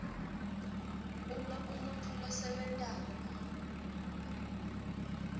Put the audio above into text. uma umuntfu losebentako